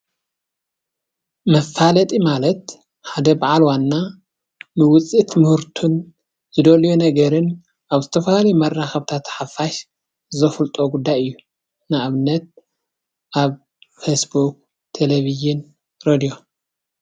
መፋለጢ ማለት ሓደ በዓል ዋና ንውፅኢት ምህርቱን ዝደልዮ ነገር ኣብ ዝተፈላለዩ መራከቢታት ሓፋሽ ዘፍልጦ ጉዳይ እዩ። ንኣብነት ኣብ ፌስ ቡክ፣ ቴለቪዥን፣ ሬድዮን።